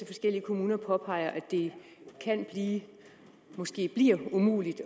forskellige kommuner påpeger at det måske bliver umuligt